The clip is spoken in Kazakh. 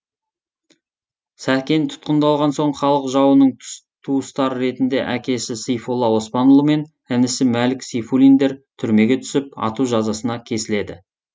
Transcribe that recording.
сәкен тұтқындалған соң халық жауының туыстары ретінде әкесі сейфолла оспанұлы мен інісі мәлік сейфуллиндер түрмеге түсіп ату жазасына кесіледі